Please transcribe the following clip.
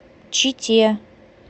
чите